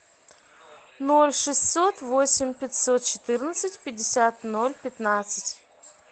ноль шестьсот восемь пятьсот четырнадцать пятьдесят ноль пятнадцать